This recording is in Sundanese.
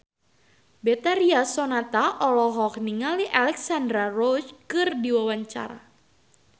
Betharia Sonata olohok ningali Alexandra Roach keur diwawancara